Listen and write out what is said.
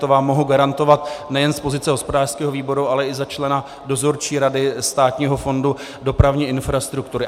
To vám mohu garantovat nejen z pozice hospodářského výboru, ale i za člena Dozorčí rady Státního fondu dopravní infrastruktury.